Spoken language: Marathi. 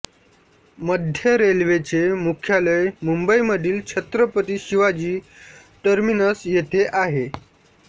मध्य रेल्वेचे मुख्यालय मुंबईमधील छत्रपती शिवाजी टर्मिनस येथे आहे